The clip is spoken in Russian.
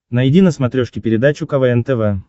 найди на смотрешке передачу квн тв